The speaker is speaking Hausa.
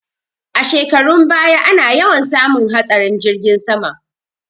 A shekarun baya ana yawan samun hatsarin jirgin sama